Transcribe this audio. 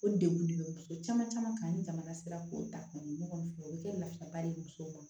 O degun de bɛ muso caman caman ni jamana sera k'o ta kɔni fɔ o bɛ kɛ nafaba de ye musow ma